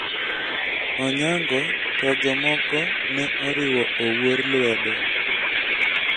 Onyango to jomoko ne oriwo Owuor lwedo.